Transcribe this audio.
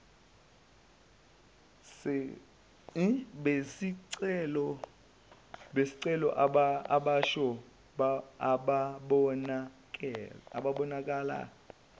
besicelo abasha ababonakala